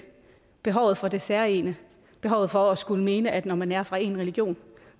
behovet for det særegne behovet for at skulle mene at når man er fra en religion